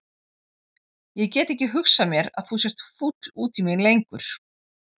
Ég get ekki hugsað mér að þú sért fúll út í mig lengur.